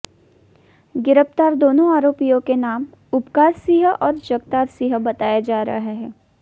गिरफ्तार दोनों आरोपियों के नाम उपकार सिंह और जगतार सिंह बताया जा रहा है